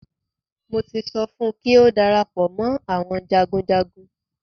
Mo ti sọ fún kí ó darapọ̀ mọ́ àwọn jagunjagun.